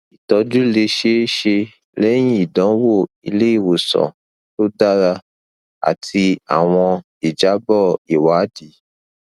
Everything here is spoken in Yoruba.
itọju le ṣee ṣe lẹhin idanwo ileiwosan to dara ati awọn ijabọ iwadii